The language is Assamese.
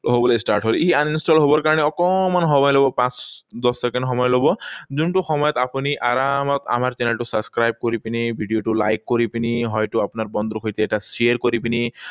হবলৈ start হল। ই uninstall হবৰ কাৰণে অকণমান সময় লব। পাঁচ, দহ ছেকেণ্ড সময় লব, যোনটো সময়ত আপুনি আৰামত আমাৰ চেনেলটো subscribe কৰি পিনি, ভিডিঅ টো like কৰি পিনি, হয়তো আপোনাৰ বন্ধুৰ সৈতে এটা share কৰি পিনি